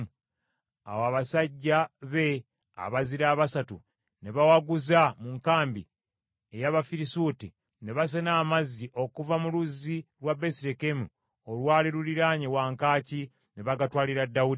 Awo abasajja be abazira abasatu ne bawaguza mu nkambi ey’Abafirisuuti, ne basena amazzi okuva mu luzzi lwa Besirekemu olwali luliraanye wankaaki, ne bagatwalira Dawudi.